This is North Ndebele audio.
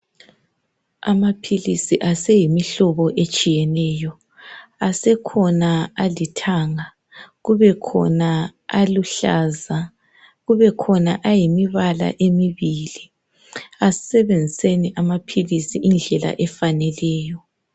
Amaphilisi aseyimihlobo etshiyeneyo. Asekhona alithanga, kubekhona aluhlaza, kubekhona ayimibala emibili. Asisebenziseni amaphilisi indlela efaneleyo.